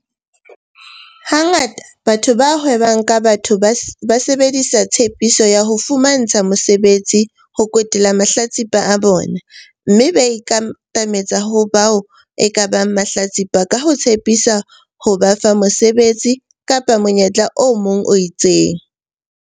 Ha ngata batho ba hwebang ka batho ba sebedisa tshepiso ya ho fumantsha mosebetsi ho kwetela mahlatsipa a bona mme ba ikatametsa ho bao ekabang mahlatsipa ka ho tshepisa ho ba fa mosebetsi kapa monyetla o mong o itseng.